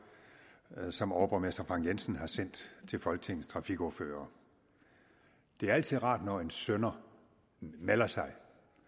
som overborgmester frank jensen har sendt til folketingets trafikordførere det er altid rart når en synder melder sig